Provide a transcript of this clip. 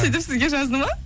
сөйтіп сізге жазды ма